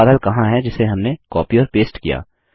वो बादल कहाँ है जिसे हमने कॉपी और पेस्ट किया